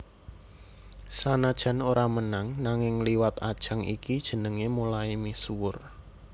Sanajan ora menang nanging liwat ajang iki jenengé mulai misuwur